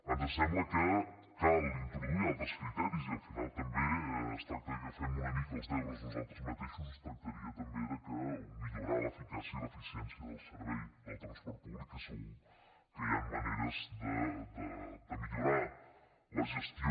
ens sembla que cal introduir hi altres criteris i al final també es tracta que fem una mica els deures nosaltres mateixos es tractaria també de millorar l’eficàcia i l’eficiència del servei del transport públic que segur que hi han maneres de millorar ne la gestió